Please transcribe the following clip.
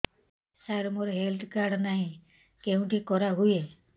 ସାର ମୋର health card ନାହିଁ କେଉଁଠି କରା ହୁଏ